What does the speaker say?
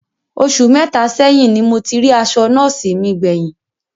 Osù mẹta sẹ́yìn ní mo ti rí aṣọ nọ́ọ̀sí mi gbé yín